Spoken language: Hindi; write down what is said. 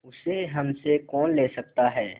उसे हमसे कौन ले सकता है